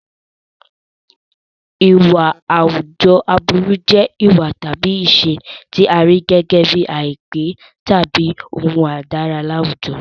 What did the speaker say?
Ìwà àwùjọ aburú jẹ́ ìwà tàbí ìṣe tí a rí gẹ́gẹ́ bíi àìpé tàbí ohun àìdára ní àwùjọ.